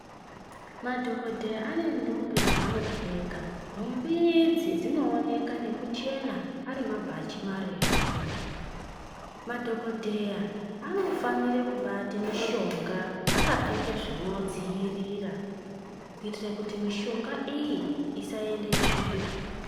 Madhokodheya ane nthumbi dzaanopfeka nhumbi idzi dzinooneka ngekuchena ari mabhachi marefu. Madhokodheya anofanire kubate mushonga akapfeka zvinodziirira kuitire kuti mishonga iyi isaende tsvina.